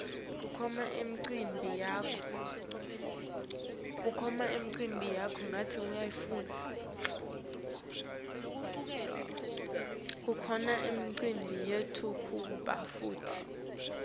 kukhona imicimbi yekutalwa kwebantfu